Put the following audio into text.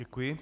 Děkuji.